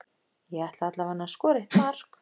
Ég ætla alla veganna að skora eitt mark.